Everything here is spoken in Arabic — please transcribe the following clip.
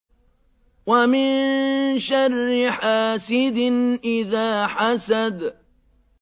وَمِن شَرِّ حَاسِدٍ إِذَا حَسَدَ